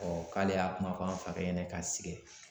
k'ale y'a kuma fɔ an fakɛ ɲɛna ka sɛgɛn